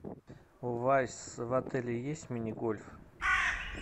у вас в отеле есть мини гольф